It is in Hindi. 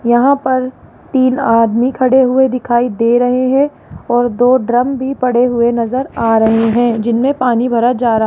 यहां पर तीन आदमी खड़े हुए दिखाई दे रहे हैं और दो ड्रम भी पड़े हुए नजर आ रहे हैं जिन्हें पानी भरा जारा --